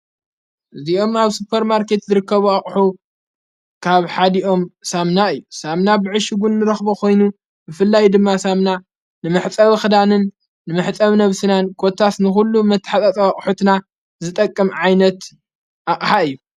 እዚኦም ኣብ ስጰር ማርከት ዝርከቡ ኣቕሑ ካብ ሓዲኦም ሳምና እዩ ሳምና ብዕሽውን ንረኽቦ ኾይኑ ብፍላይ ድማ ሳምና ንምሕጸብ ኽዳንን ንምሕጠብ ነፍስናን ኮታስ ንዂሉ መትሓጸዊ አቕሑትና ዝጠቅም ዓይነት ኣቕሓ እዩ፡፡